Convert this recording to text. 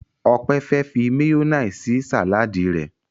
Ope fe fí mayonnaise sí Sàláàdì rẹ.